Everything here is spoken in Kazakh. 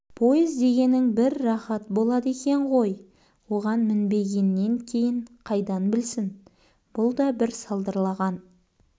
пойыз дегенің бір рақат болады екен ғой оған мінбегеннен кейін қайдан білсін бұл да бір салдырлаған